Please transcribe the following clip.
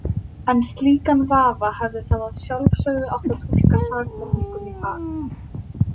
En slíkan vafa hefði þá að sjálfsögðu átt að túlka sakborningum í hag.